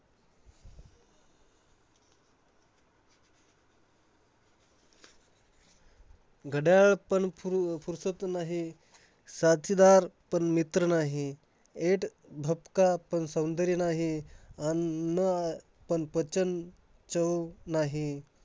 घड्याळ पण फुर्र~ फुरशात नाही. साथीदार पण मित्र नाही. ऐट-भपका पण सौंदर्य नाही. अन्न अह पण पचन, चव नाही